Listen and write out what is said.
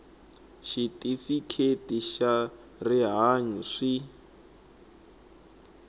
xitifiketi xa swa rihanyu swi